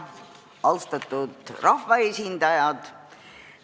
Austatud rahvaesindajad!